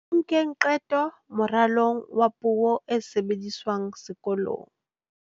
Ho nkeng qeto moralong wa puo e sebediswang sekolong.